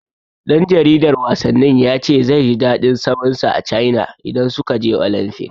Ɗan jaridar wasannin ya ce zai ji daɗin zaman sa a Caina idan suka je Olamfik.